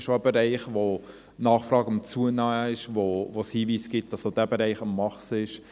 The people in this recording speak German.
Das ist ein Bereich, in dem die Nachfrage steigt, wo es Hinweise gibt, dass dieser Bereich wächst.